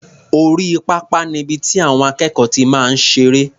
Orí pápá ni ibi tí àwọn akẹ́kọ̀ọ́ ti máa ń ṣeré.